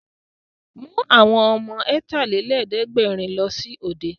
Mú àwọn ọmọ Ọ̀tàlélẹ̀ẹ́dẹ́gbẹ̀rin lọ sí òde!